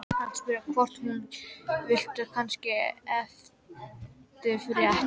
Hann spurði hvort hún vildi kannski eftirrétt.